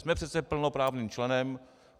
Jsme přece plnoprávným členem.